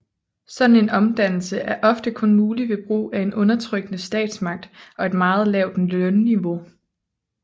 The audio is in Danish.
Sådan en omdannelse er ofte kun mulig ved brug af en undertrykkende statsmagt og et meget lavt lønniveau